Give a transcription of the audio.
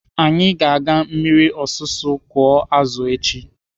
Anyị ga-aga na mmiri ọsụsụ kụọ azụ echi.